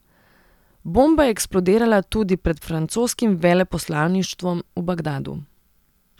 Bomba je eksplodirala tudi pred francoskim veleposlaništvom v Bagdadu.